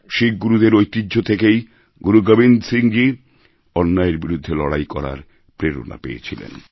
শিখ গুরুদের ঐতিহ্য থেকেই গুরু গোবিন্দ সিং অন্যায়ের বিরুদ্ধে লড়াই করার প্রেরণা পেয়েছিলেন